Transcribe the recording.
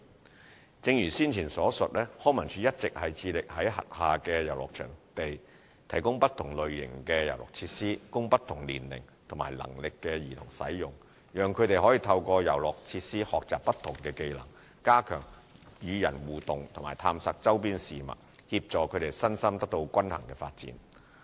三正如先前所述，康文署一直致力在轄下遊樂場地提供不同類型的遊樂設施，供不同年齡和能力的兒童使用，讓他們透過遊樂設施學習不同技能，加強與人互動及探索周邊事物，協助他們身心得到均衡發展。